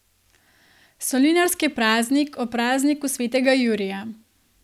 Solinarski praznik ob prazniku svetega Jurija.